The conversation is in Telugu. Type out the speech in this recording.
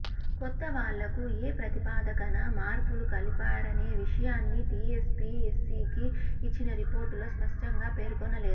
కొత్త వాళ్లకు ఏ ప్రతిపాదికన మార్కులు కలిపారనే విషయాన్ని టీఎస్పీఎస్సీకి ఇచ్చిన రిపోర్టులో స్పష్టంగా పేర్కొనలేదు